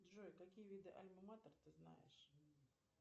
джой какие виды альма матер ты знаешь